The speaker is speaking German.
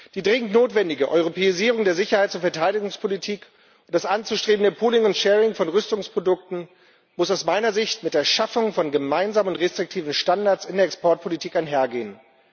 Die dringend notwendige Europäisierung der Sicherheits und Verteidigungspolitik und das anzustrebende pooling and sharing von Rüstungsprodukten müssen aus meiner Sicht mit der Schaffung von gemeinsamen restriktiven Standards in der Exportpolitik einhergehen.